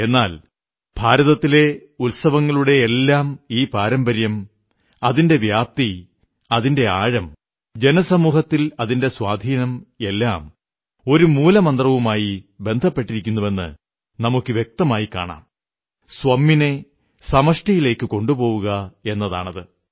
എന്നാൽ ഭാരതത്തിലെ ഉത്സവങ്ങളുടെയെല്ലാം ഈ പാരമ്പര്യം അതിന്റെ വ്യാപ്തി അതിന്റെ ആഴം ജനസമൂഹത്തിൽ അതിന്റെ സ്വാധീനം എല്ലാം ഒരു മൂലമന്ത്രവുമായി ബന്ധപ്പെട്ടിരിക്കുന്നുവെന്ന് നമുക്ക് വ്യക്തമായി കാണാം സ്വമ്മിനെ സമഷ്ടിയിലേക്കു കൊണ്ടുപോവുക എന്നതാണത്